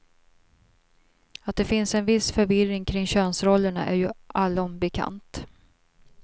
Att det finns en viss förvirring kring könsrollerna är ju allom bekant.